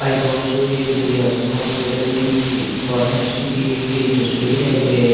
आई hope so ये किसी हस हॉस्पिटल की फार्मेसी की ली गई तस्वीर है ये--